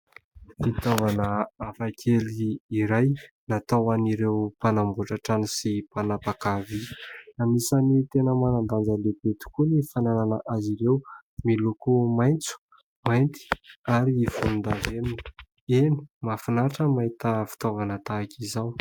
Fitaovana hafakely iray natao an'ireo mpanamboatra trano sy mpanapaka vỳ. Anisany tena manan-danja lehibe tokoa ny fanànana azy ireo. Miloko maintso, mainty, ary volondavenona. Eny ! mahafinaritra ny mahita fitaovana tahaka izao.